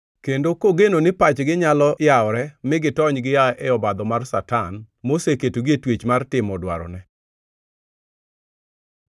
kendo kogeno ni pachgi nyalo yawore mi gitony gia e obadho mar Satan moseketogi e twech mar timo dwarone.